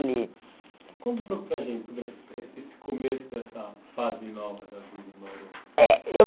Conta um pouco para a gente sobre essa eh esse começo dessa fase nova da vida em Bauru. Eh eu